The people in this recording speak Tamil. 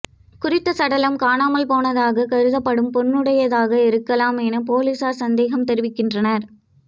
குறித்த சடலம் காணாமல் போனதாக கருதப்படும் பெண்ணுடையதாக இருக்கலாம் என பொலிஸார் சந்தேகம் தெரிவிக்கின்றனர்